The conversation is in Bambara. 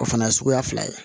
O fana ye suguya fila ye